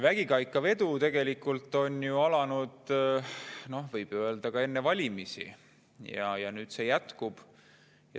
Vägikaikavedu tegelikult algas, võib öelda, enne valimisi ja see jätkub.